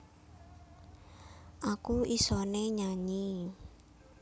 aku isané nyanyi